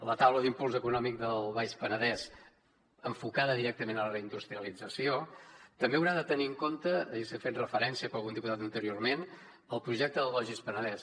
la taula d’impuls econòmic del baix penedès enfocada directament a la reindustrialització també haurà de tenir en compte s’hi ha fet referència per algun diputat anteriorment el projecte del logis penedès